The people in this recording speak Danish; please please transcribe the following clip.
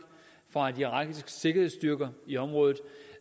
og de irakiske sikkerhedsstyrker i området